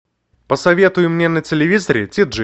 посоветуй мне на телевизоре ти джи